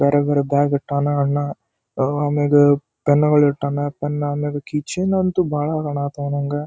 ಬೇರೆ ಬೇರೆ ಬ್ಯಗ ಇಟ್ಟಾನ ಅಣ್ಣ ಆಮ್ಯಗ ಪೆನ್ನುಗಳು ಇಟ್ಟಾನ ಪೆನ್ ಆದ್ಮೇಲೆ ಕೀ ಚೈನ್ ಅಂತೂ ಬಹಳ ಕಣಕತ್ತವ ನಂಗ.